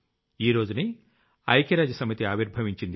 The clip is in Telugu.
ఈ రోజునే ఐక్య రాజ్య సమితి ఆవిర్భవించింది